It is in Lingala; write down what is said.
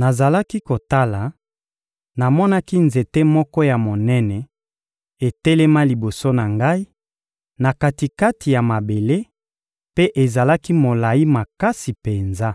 «Nazalaki kotala, namonaki nzete moko ya monene etelema liboso na ngai, na kati-kati ya mabele, mpe ezalaki molayi makasi penza.